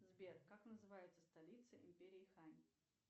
сбер как называется столица империи хань